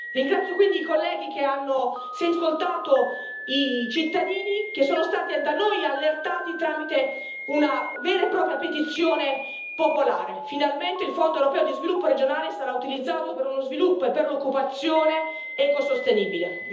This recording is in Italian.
Ringrazio quindi i colleghi che hanno ascoltato i cittadini, che sono stati da noi allertati tramite una vera e propria petizione popolare. Finalmente il Fondo europeo di sviluppo regionale sarà utilizzato per uno sviluppo e per l'occupazione ecosostenibile.